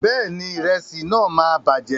Bẹ́ẹ̀ni, ìrẹsí náà máa bàjẹ́.